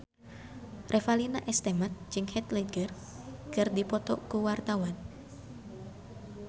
Revalina S. Temat jeung Heath Ledger keur dipoto ku wartawan